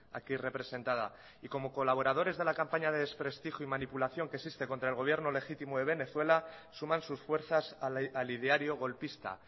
aquí representada y como colaboradores de la campaña de desprestigio y manipulación que existe contra el gobierno legítimo de venezuela suman sus fuerzas al ideario golpista